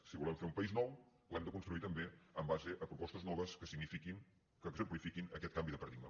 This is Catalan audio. si volem fer un país nou l’hem de construir també en base a propostes noves que signifiquin que exemplifiquin aquest canvi de paradigma